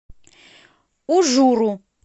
ужуру